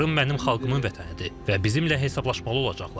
Krım mənim xalqımın vətənidir və bizimlə hesablaşmalı olacaqlar.